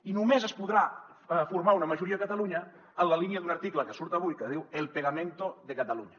i només es podrà formar una majoria a catalunya en la línia d’un article que surt avui que diu el pegamento de cataluña